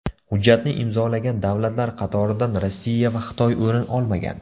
Hujjatni imzolagan davlatlar qatoridan Rossiya va Xitoy o‘rin olmagan.